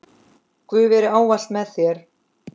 Guð veri ávallt með þér.